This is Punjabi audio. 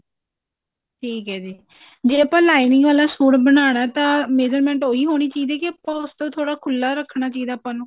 ਠੀਕ ਹੈ ਜੀ ਜੇ ਆਪਾਂ lining ਆਲਾ ਸੂਟ ਬਣਾਉਣਾ ਤਾਂ measurement ਓਹੀ ਹੋਣੀ ਚਾਹੀਦੀ ਹੈ ਕਿ ਆਪਾਂ ਉਸ ਤੋਂ ਥੋੜਾ ਖੁੱਲਾ ਰੱਖਣਾ ਚਾਹੀਦਾ ਆਪਾਂ ਨੂੰ